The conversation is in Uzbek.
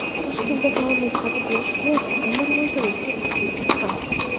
Toshkentda taom yetkazib berish xizmati ayni rivojlanish cho‘qqisiga chiqqan.